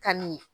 Kanu de